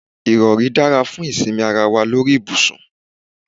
Ìrọ̀rí dára fún ìsinmi ara wa lórí ibùsùn.